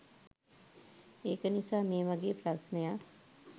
ඒක නිසා මේ වගේ ප්‍රශ්නයක්